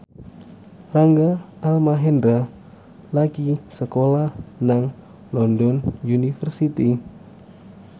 Rangga Almahendra lagi sekolah nang London University